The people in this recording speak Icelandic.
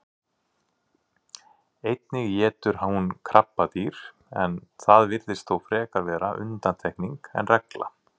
Einnig étur hún krabbadýr en það virðist þó frekar vera undantekning en regla.